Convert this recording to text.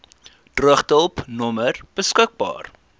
droogtehulp nommer beskik